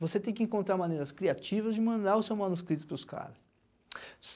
Você tem que encontrar maneiras criativas de mandar o seu manuscrito para os caras.